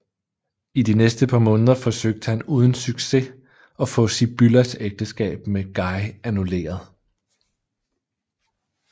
I de næste par måneder forsøgte han uden succes at få Sibyllas ægteskab med Guy annulleret